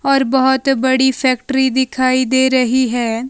और बहुत बड़ी फैक्ट्री दिखाई दे रही है।